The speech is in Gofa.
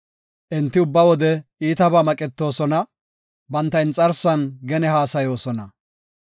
Enti ubba wode iitabaa maqetoosona; banta inxarsan gene haasayoosona.